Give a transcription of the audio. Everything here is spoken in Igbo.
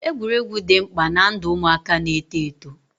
Egwuregwu dị mkpa ná ndụ ụmụaka na eto eto